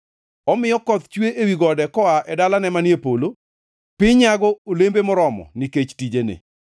Omiyo koth chue ewi gode koa e dalane manie polo; piny nyago olembe moromo nikech tijene.